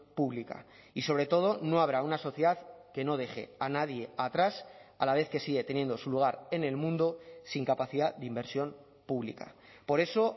pública y sobre todo no habrá una sociedad que no deje a nadie atrás a la vez que sigue teniendo su lugar en el mundo sin capacidad de inversión pública por eso